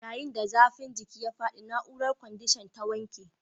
Yayin da zafin jiki ya faɗi, na'urar kwandishan ta wanke